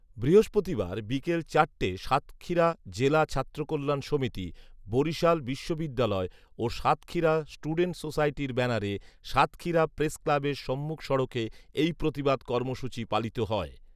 বৃহস্পতিবার বিকাল চারটেয় সাতক্ষীরা জেলা ছাত্রকল্যাণ সমিতি, বরিশাল বিশ্ববিদ্যালয় ও সাতক্ষীরা স্টুডেন্ট সোসাইটির ব্যানারে সাতক্ষীরা প্রেস ক্লাবের সম্মুখ সড়কে এই প্রতিবাদ কর্মসূচী পালিত হয়